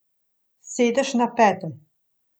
Sedeš na pete.